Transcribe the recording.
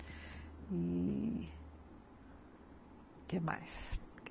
E... O quê mais?